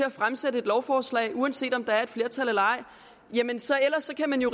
at fremsætte et lovforslag uanset om der er et flertal eller ej ellers kan man jo